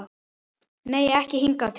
Nei, ekki hingað til.